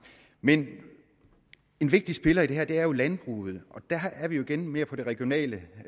men en vigtig spiller i det her er jo landbruget og der er vi jo igen mere på det regionale